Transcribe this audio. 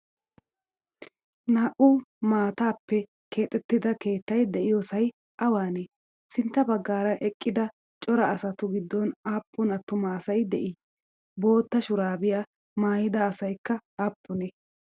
naa7u maatappe keexxetidda keettay de7iyosay awanne? sintta baggara eqqida cora asatu giddon appun attumma asay de7i? bootta shuurabbiyaa maayida asaykka appunne?